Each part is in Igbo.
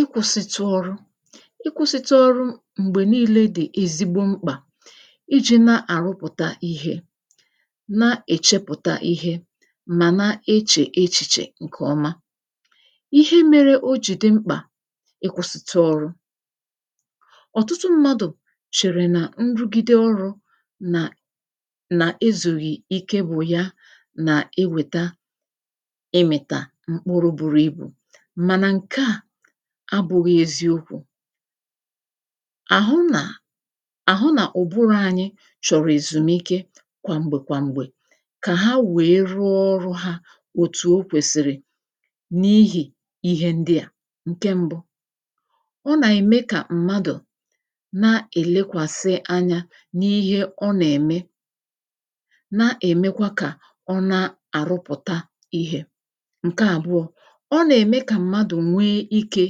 ịkwụ̄sịtụ ọrụ ịkwụsịtụ ọrụ m̀gbè niile dì ezigbo mkpà ijī na-àrụpụta ihe na-èchepụta ihe mà na-echè echichè ǹkè ọma ihe mere ọ jì di mkpà ịwụ̄sịtụ ọrụ ọ̀tụtụ mmadụ̀ chèrè nà nrugide ọrụ nà nà ezùghi ike bụ̀ ya nà-ewèta ewètà mkpuru buru ibù mànà ǹke a abụghị eziokwū àhụ nà àhụ nà ùburù chọ̀rọ̀ èzùmike kwà m̀gbè kwà m̀gbè kà ha wee rụọ ọrụ̄ ha òtù o kwèsìrì n’ihì ihi ndịa ǹke m̀bu ọ nà-ème kà na-èlekwàsị anya n’ihi ọ nà-ème na-èmekwa kà ọ na àrụpụ̀ta ihē ǹke àbụọ ọ nà-ème kà mmadụ̀ nwee ike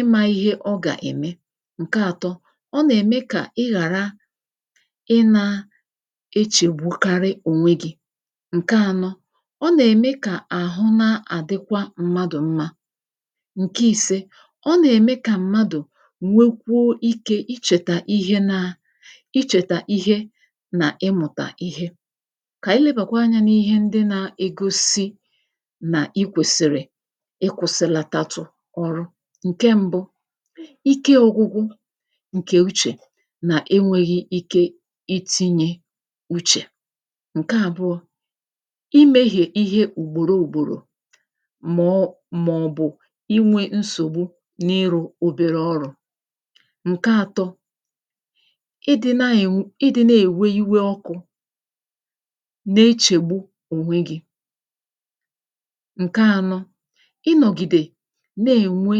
imā ihe ọ gà-ème ǹke àtọ ọ nà-ème kà ịghàra ị na echègbukarị ònwe gi ǹke ànọ ọ nà-ème kà àhụ na-àdịkwa mmadụ mmā ǹke ìse ọ nà-ème kà mmadụ̀ nwekwuo ikē ichèta ihe na ichèta ihe nà ịmụ̀tà ihe kà anyị lebakwa anyā n’ihe ndị na-egosi nà ikwèsìrì ịkwụ̄sịlatatụ ọrụ ǹkè m̀bu ike ọ̀gwụgwụ ǹkè uchè nà enwēghi ike itīnye uchè ǹke àbụọ imēghe ùgbòrò ùgbòrò maọ màọbụ̀ inwe nsògbu nà ịrụ̄ obere ọrụ̄ ǹke àtọ idī na-ènwe idī na-èwe iwe ọkụ̄ na-echègbu ònwè gi ǹke ànọ ị nọ̀gìdè na-ènwe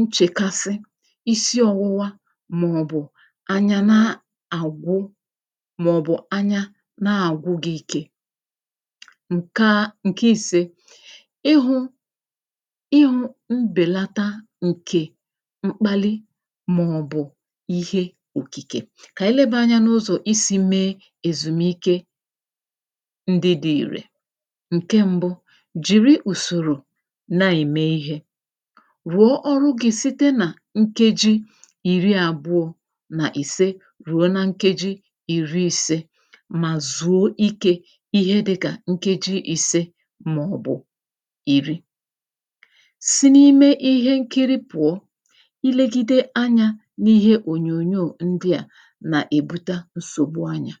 nchèkasị isi ọ̀wụwa màọbụ̀ anya na àgwụ màọbụ̀ anya na-àgwụ gī ike ǹke a ǹke ìse ịhụ ịhụ mbèlata ǹkè mkpalị màọbụ̀ ihe òkìkè kà anyị lebà anya n’ụzọ isī mee èzùmike ndị di ìrè ǹke m̀bu jìrì ùsòrò na-ème ihē ruo ọrụ gi site nà nkeji ìri àbụọ nà ìse ruo na nkeji ìri ìse mà zuo ikē ihe dịkà nkeji ìse màọbụ̀ ìri si n’ime ihe nkiri pụ̀ọ ilēgide anyā n’ihe ònyònyo ndịa nà-èbute nsògbu ọnyà